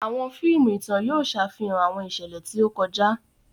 Awọn fíìmù ìtàn yóò ṣàfihàn awọn iṣẹlẹ ti o kọjá.